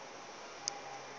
go reng o ka re